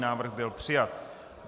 Návrh byl přijat.